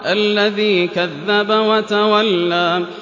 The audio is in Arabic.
الَّذِي كَذَّبَ وَتَوَلَّىٰ